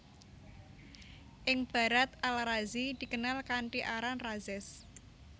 Ing Barat Al Razi dikenal kanthi aran Rhazes